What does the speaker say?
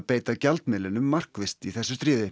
beita gjaldmiðlinum markvisst í þessu stríði